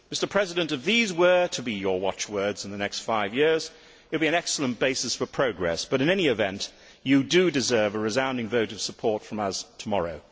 President Barroso, if these were to be your watchwords in the next five years, it would be an excellent basis for progress but, in any event, you do deserve a resounding vote of support from us tomorrow.